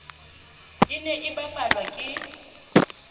e ne e bapalwa ke